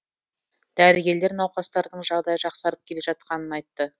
дәрігерлер науқастардың жағдайы жақсарып келе жатқанын айтты